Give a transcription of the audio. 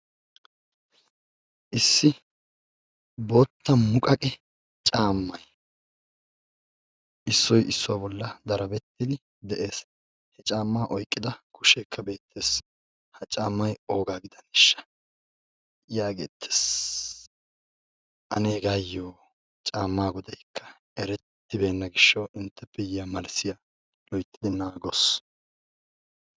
Issi boottaa muqaqqe caammay issoy issuwa bollan darabettidi dees. Caammaa oyqqida kushshekka beettees, ha caammaay oogga giddanesha, Yaagettes. Anne heggayo caammaa quxurekka erettibbenna gishshawu intte immiyo malssyaa loytti naagos.